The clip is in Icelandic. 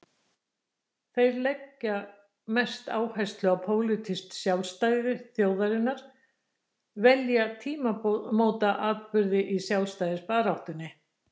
Þeir sem leggja mesta áherslu á pólitískt sjálfstæði þjóðarinnar velja tímamótaatburði í sjálfstæðisbaráttunni.